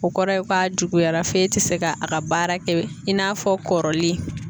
O kɔrɔ ye ko a juguyara fe tɛ se ka a ka baara kɛ i n'a fɔ kɔrɔlen.